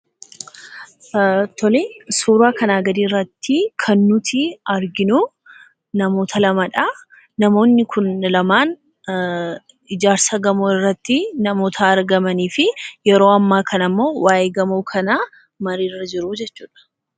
Tolee, suuraa kana gadii irratti kan nuti arginuu, namoota lamadhaa. Namoonni Kun lamaan ijaarsa gamoo irratti namoota argamanii fi yeroo amma kana immoo waa'ee gamoo kanaa marii irra jiru jechuudha